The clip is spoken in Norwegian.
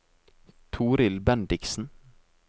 Torild Bendiksen